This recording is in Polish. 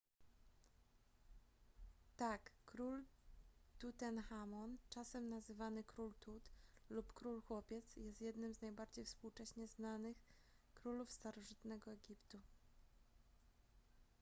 tak król tutenchamon czasem nazywany król tut lub król chłopiec jest jednym z najbardziej współcześnie znanych królów starożytnego egiptu